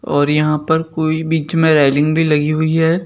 और यहां पर कोई बीच में रेलिंग भी लगी हुई है।